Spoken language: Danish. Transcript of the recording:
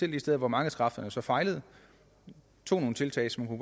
de steder hvor markedskræfterne fejler tog nogle tiltag som